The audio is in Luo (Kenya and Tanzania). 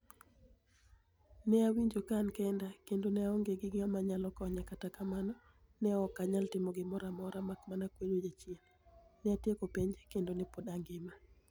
ni e awinijo ka ani kenida kenido ni e aonige gi nig'ama niyalo koniya Kata kamano, ni e ok aniyal timo gimoro amora mak mania kwedo jachieni. ni e atieko penij, kenido ni e pod anigima.